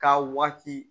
K'a waati